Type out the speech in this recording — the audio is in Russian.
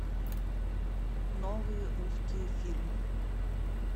новые русские фильмы